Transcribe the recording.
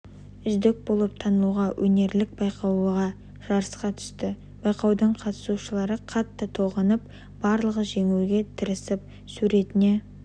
үздік болып танылуға өнерлік байқауға жарысқа түсті байқаудың қатысушылары қатты толғанып барлығы жеңуге тырысып суретіне